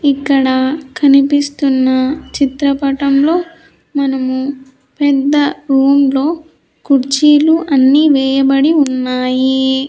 ఇక్కడ కనిపిస్తున్న చిత్రపటంలో మనము పెద్ద రూమ్ లో కుర్చీలు అన్నీ వేయబడి ఉన్నాయి.